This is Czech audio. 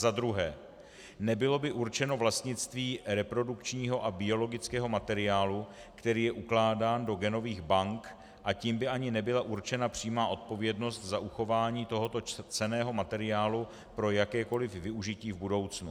Za druhé, nebylo by určeno vlastnictví reprodukčního a biologického materiálu, který je ukládán do genových bank, a tím by ani nebyla určena přímá odpovědnost za uchování tohoto cenného materiálu pro jakékoliv využití v budoucnu.